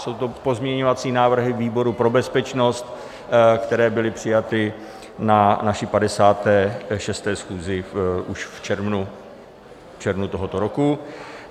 Jsou to pozměňovací návrhy výboru pro bezpečnost, které byly přijaty na naší 56. schůzi už v červnu tohoto roku.